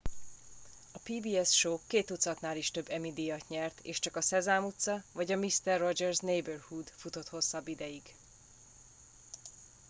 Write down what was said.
a pbs show két tucatnál is több emmy díjat nyert és csak a szezám utca vagy a mister rogers' neighborhood futott hosszabb ideig